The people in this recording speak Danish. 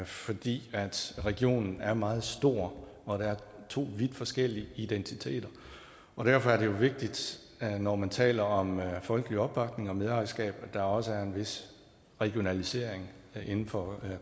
fordi regionen er meget stor og der er to vidt forskellige identiteter derfor er det jo vigtigt når man taler om folkelig opbakning og medejerskab at der også er en vis regionalisering inden for